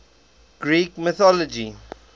greek mythology